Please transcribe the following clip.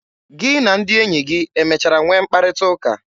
Gị na ndị enyi gị emechara nwee mkparịta ụka?